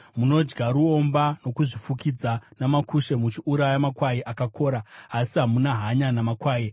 Munodya ruomba, munozvifukidza namakushe muchiuraya makwai akakora, asi hamuna hanya namakwai.